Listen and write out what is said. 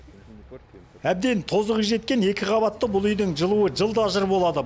әбден тозығы жеткен екі қабатты бұл үйдің жылуы жылда жыр болады